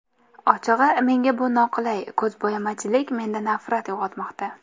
Ochig‘i, menga bu noqulay, ko‘zbo‘yamachilik menda nafrat uyg‘otmoqda.